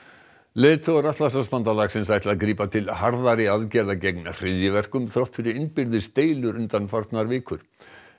leiðtogar Atlantshafsbandalagsins ætla að grípa til harðari aðgerða gegn hryðjuverkum þrátt fyrir innbyrðis deilur undanfarnar vikur